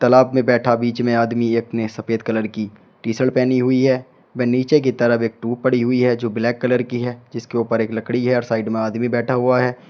तालाब में बैठा बीच में आदमी एक ने सफेद कलर की टी शर्ट पहनी हुई है व नीचे की तरफ एक ट्यूब पड़ी हुई है जो ब्लैक कलर की है जिसके ऊपर एक लकड़ी है और साइड में आदमी बैठा हुआ है।